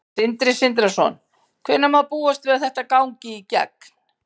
Sindri Sindrason: Hvenær má búast við að þetta gangi í gegn?